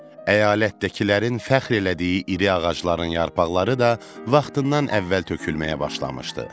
Əyalətdəkilərin fəxr elədiyi iri ağacların yarpaqları da vaxtından əvvəl tökülməyə başlamışdı.